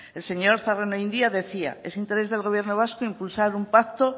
el señor zarraonandia decía es interés del gobierno vasco impulsar un pacto